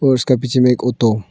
उसका पीछे में एक ओटो --